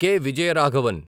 K. Vijayaraghavan